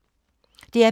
DR P2